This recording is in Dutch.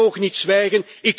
Wij mogen niet zwijgen.